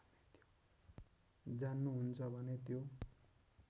जान्नुहुन्छ भने त्यो